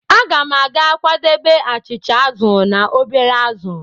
Aga m ga-akwadebe achịcha azụ̀ na obere azụ̀.